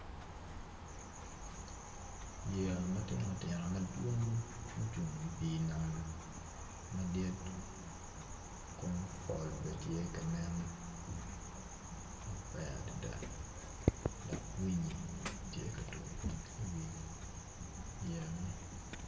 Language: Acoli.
Yeya matino tino madwong mucung i pii nam madit kun pol bene tye ka nen maber adada dok winyi tye ka tuk iwi yeya man .